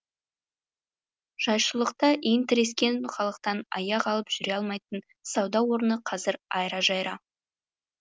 жайшылықта иін тірескен халықтан аяқ алып жүре алмайтын сауда орны қазір айра жайра